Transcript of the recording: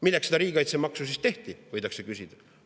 Milleks seda riigikaitsemaksu tehti, võidakse küsida.